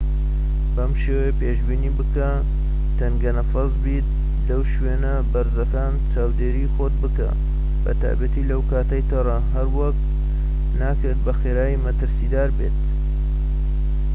بەم شێوەیە پێشبینی بکە تەنگە نەفەس بیت و لە شوێنە بەرزەکان چاودێری خۆت بکە بە تایبەتی لەو کاتەی تەڕە هەروەک ناکرێت بەخێرایی مەترسیدار بێت